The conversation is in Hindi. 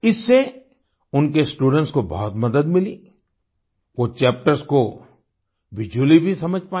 इससे उनके स्टूडेंट्स को बहुत मदद मिली वो चैप्टर्स को विजुअली भी समझ पाए